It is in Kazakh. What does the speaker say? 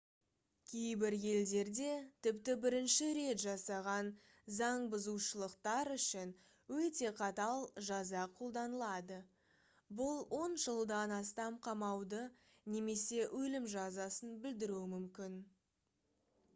кейбір елдерде тіпті бірінші рет жасаған заңбұзушылықтар үшін өте қатал жаза қолданылады бұл 10 жылдан астам қамауды немесе өлім жазасын білдіруі мүмкін